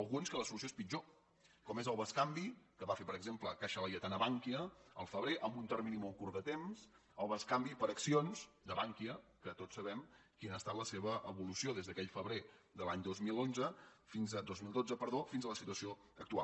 al·guns que la solució és pitjor com és el bescanvi que va fer per exemple caixa laietana a bankia al fe·brer en un termini molt curt de temps el bescanvi per accions de bankia que tots sabem quina ha estat la seva evolució des d’aquell febrer de l’any dos mil dotze fins a la situació actual